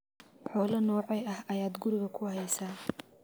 Xoolo noocee ah ayaad guriga ku haysaa?